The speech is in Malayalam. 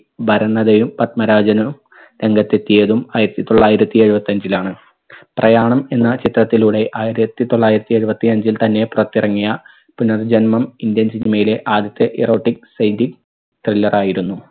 ഭരണതയും പത്മരാജനും രംഗത്തെത്തിയതും ആയിരത്തി തൊള്ളായിരത്തി എഴുപത്തഞ്ചിലാണ്. പ്രയാണം എന്ന ചിത്രത്തിലൂടെ ആയിരത്തി തൊള്ളായിരത്തി എഴുപത്തി അഞ്ചിൽ തന്നെ പുറത്തിറങ്ങിയ പുനർജന്മം indian cinema ലെ ആദ്യത്തെ errotic psychic thriller ആയിരുന്നു